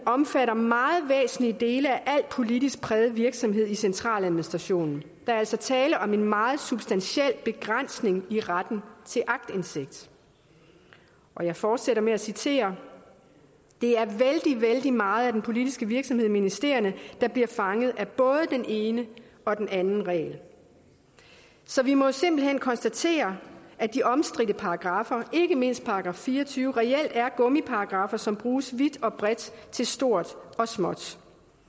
omfatter meget væsentlige dele af al politisk præget virksomhed i centraladministrationen der er altså tale om en meget substantiel begrænsning i retten til aktindsigt og jeg fortsætter med at citere det er vældig vældig meget af den politiske virksomhed i ministerierne der bliver fanget af både den ene og den anden regel så vi må simpelt hen konstatere at de omstridte paragraffer ikke mindst § fire og tyve reelt er gummiparagraffer som bruges vidt og bredt til stort og småt